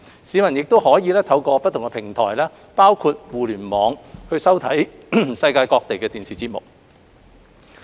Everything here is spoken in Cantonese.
市民亦可透過不同平台包括互聯網收看世界各地的電視節目。